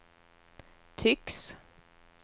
tycks